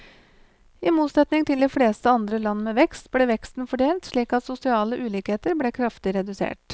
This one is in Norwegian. I motsetning til de fleste andre land med vekst, ble veksten fordelt slik at sosiale ulikheter ble kraftig redusert.